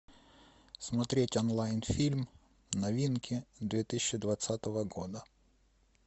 смотреть онлайн фильм новинки две тысячи двадцатого года